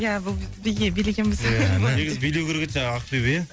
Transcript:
ия бұл біз биге билегенбіз негізі билеу керек еді жаңағы ақбибі ия